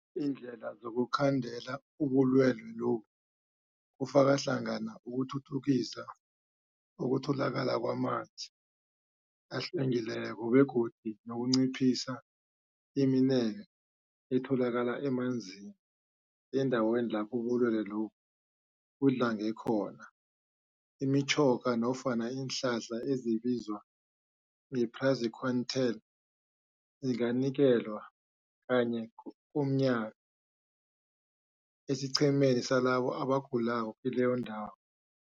Iindlela zokukhandela ubulwelwe lobu kufaka hlangana ukuthuthukisa ukutholakala kwamanzi ahlwengileko begodu nokunciphisa imineke etholakala emanzini. Eendaweni lapho ubulwelwe lobu budlange khona, imitjhoga nofana iinhlahla ezibizwa nge-praziquantel zinganikelwa kanye komnyaka esiqhemeni salabo abagulako kileyo ndawo.